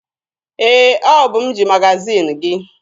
Ee, ọ bụ m ji magaziini gị.